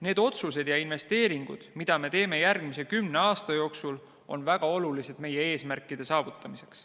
Need otsused ja investeeringud, mida me teeme järgmise kümne aasta jooksul, on väga olulised meie eesmärkide saavutamiseks.